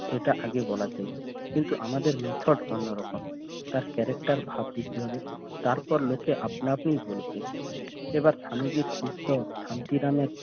এটা আগে বলাতেই কিন্তু আমাদের মিথক অন্যরকম তার character ভার দিতে হবে তারপর লোকে আপনা আপনিই বলবে এবার স্বামীজীর সুস্থ শান্তি নামের